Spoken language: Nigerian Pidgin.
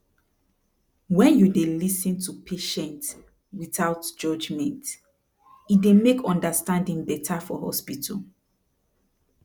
wen dey you lis ten to patient without judement e dey make understanding beta for hospital